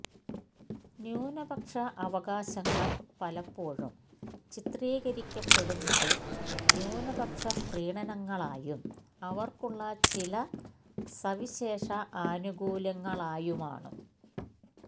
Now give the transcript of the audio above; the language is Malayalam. ന്യൂനപക്ഷ അവകാശങ്ങള് പലപ്പോഴും ചിത്രീകരിക്കപ്പെടുന്നതു ന്യൂനപക്ഷ പ്രീണനങ്ങളായും അവര്ക്കുള്ള ചില സവിശേഷ ആനുകൂല്യങ്ങളായുമാണ്